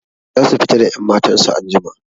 Zasu fita da 'yammatan su anjima.